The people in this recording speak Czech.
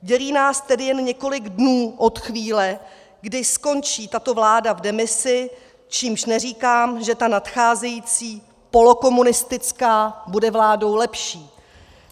Dělí nás tedy jen několik dnů od chvíle, kdy skončí tato vláda v demisi, čímž neříkám, že ta nadcházející polokomunistická bude vládou lepší.